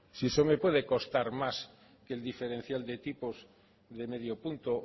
si eso me puede costar más que el diferencial de tipos de medio punto